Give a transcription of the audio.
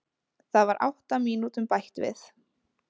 Það var átta mínútum bætt við